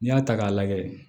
N'i y'a ta k'a lajɛ